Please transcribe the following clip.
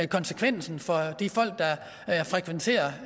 konsekvensen for de folk der frekventerer